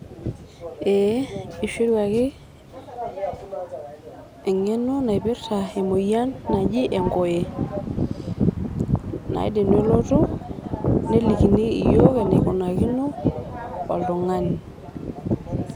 background noise